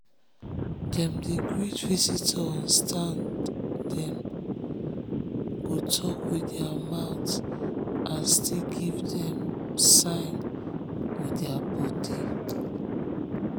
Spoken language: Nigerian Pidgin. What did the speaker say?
dem dey greet visitor on standdem go talk with their mouth and still give dem sign with um their body.